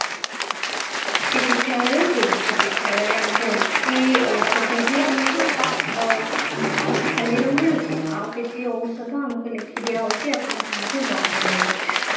ଚିକିସ୍ଥାଲୟକୁ ଚିକିସ୍ଥାଲୟରୁ ଆମକୁ କିଛି ଔଷଧ ହିଁ ଆମକୁ ଅ ଖାଲିରେ ମିଳୁଛି ଆଉ କିଛି ଔଷଧ ଆମକୁ ଲେଖିଦିଆ ଯାଉଛି ଆପଣ ଯାଆନ୍ତୁ ବାହାରୁ ନେବେ